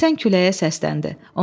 Əsən küləyə səsləndi.